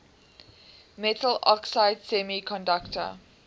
metal oxide semiconductor